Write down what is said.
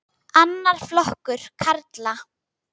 Annar flokkur karla.